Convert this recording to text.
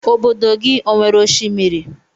Ọbọdọ gị ọ nwere oshimiri?